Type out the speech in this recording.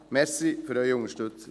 Danke für Ihre Unterstützung.